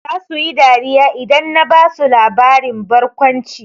Zasu yi dariya idan na basu labarin barkwanci.